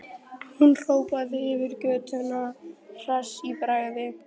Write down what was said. Hún hrópaði yfir götuna hress í bragði.